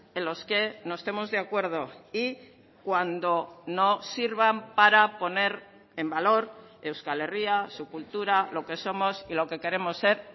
en los que no estemos de acuerdo y cuando no sirvan para poner en valor euskal herria su cultura lo que somos y lo que queremos ser